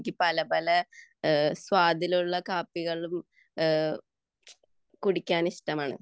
പല പല സ്വാദിലുള്ള കാപ്പികൾ കുടിക്കാൻ ഇഷ്ടമാണ്